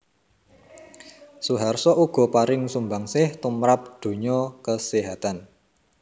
Suharso uga paring sumbangsih tumrap donya kaséhatan